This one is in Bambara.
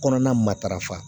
Kɔnɔna matarafa